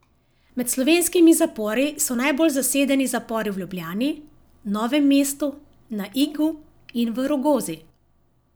Med slovenskimi zapori so najbolj zasedeni zapori v Ljubljani, Novem mestu, na Igu in v Rogozi.